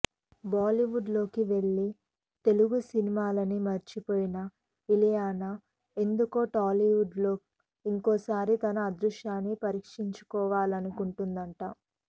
బాలీవుడ్లోకి వెళ్ళి తెలుగు సినిమాల్ని మర్చిపోయిన ఇలియానా ఎందుకో టాలీవుడ్లో ఇంకోసారి తన అదృష్టాన్ని పరీక్షించుకోవాలనుకుంటోందట